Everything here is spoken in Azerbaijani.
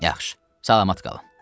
Yaxşı, salamat qalın!